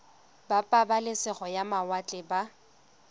ba pabalesego ya mawatle ba